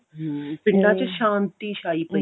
hm ਪਿੰਡਾਂ ਚ ਸ਼ਾਂਤੀ ਛਾਈ ਪਈ